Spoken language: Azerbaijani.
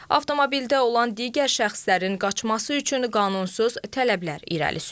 Avtomobildə olan digər şəxslərin qaçması üçün qanunsuz tələblər irəli sürüb.